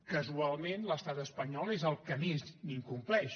casualment l’estat espanyol és el que més n’incompleix